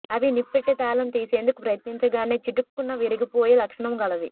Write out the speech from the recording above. అవి ఇనప్పెట్టె తాళం తీసేందుకు ప్రయత్నించగానే చిటుక్కున విరిగిపోయే లక్షణం గలవి